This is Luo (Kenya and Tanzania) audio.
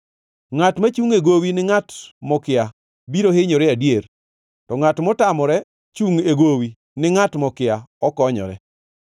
Ngʼat machungʼ e gowi ni ngʼat mokia biro hinyore adier, to ngʼat motamore chungʼ e gowi ni ngʼat mokia okonyore.